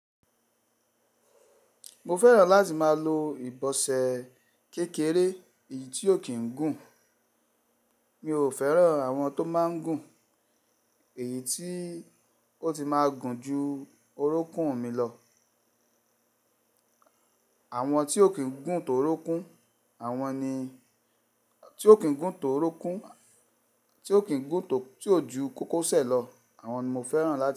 Mo fẹ́ràn láti máa lo ibọsẹ kékeré èyí tí ò kí ń gùn. Mi ò fẹ́ràn àwọn tó máa ń gùn, èyí tí ó ti máa gùn ju orókún mi lọ. Àwọn tí ò kín gùn tó orókún, àwọn ni, tí ò kín gùn tó orókún, tí ò kín gùn, tí ó ju kókósẹ̀ lọ, àwọn ni mo fẹ́ràn láti lò.